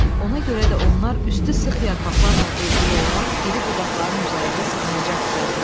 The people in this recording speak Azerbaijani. Ona görə də onlar üstü sıx yarpaqlarla örtülü olan iri budaqların üzərində sığınacaq düzəltdilər.